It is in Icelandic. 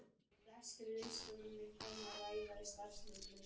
Flestir listamennirnir koma og ræða við starfsmennina.